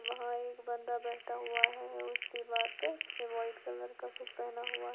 वहां एक बंदा बैठा हुआ है उस दीवार पे से वाइट कलर का कुछ पहना हुआ है।